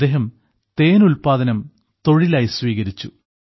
അദ്ദേഹം തേൻ ഉല്പാദനം തൊഴിലായി സ്വീകരിച്ചു